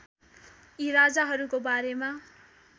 यी राजाहरूको बारेमा